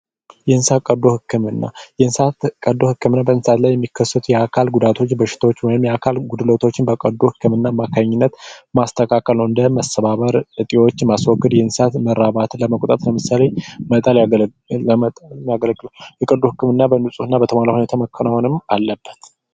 የእንስሳት ቀዶ ህክምና: የእንስሳት ቀዶ ህክምና በእንስሳት ላይ የሚከሰቱ የአካል ጉዳቶች በሽታወች ወይም የአካል ጉድለቶች በቀዶ ህክምና አማካኝነት ማስተካከል ነዉ እንዲህም መሰባበር እጢወችን ማስወገድ የእንስሳት መራባትን ለመቆጣጠር ለምሳሌ መጣል ያስፈልጋል እንዲሁም የቀዶ ህክምና በንጽህና በተሟላ ሁኔታ መከናወን አለበት።